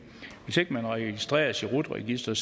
man registreres i rut registeret